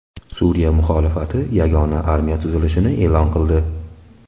Suriya muxolifati yagona armiya tuzilishini e’lon qildi.